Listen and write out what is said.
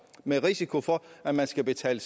med risiko for at man skal betale